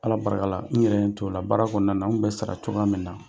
Ala barika la n yɛrɛ n t'o la baara kɔnɔna na n kun bɛ sara cogoya min na,